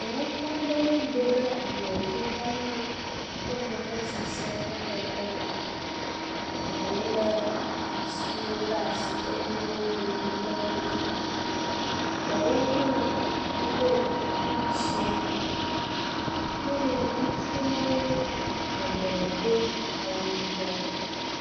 Ƒuƒoƒe aɖewo do ɖe ablɔdzi hena woƒe vevesese hehe ɖe go, ɖewo lé atsiwo ɖe asi eye woŋlɔ nu ɖe wo dzi. Ɖewo hã woɖo kuku dzɛ̃ eye ŋutsuawo geɖee do awu yibɔ.